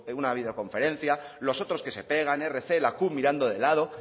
una videoconferencia los otros que se pegan erc la cup mirando de lado